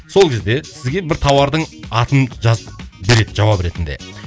сол кезде сізге бір тауардың атын жазып береді жауап ретінде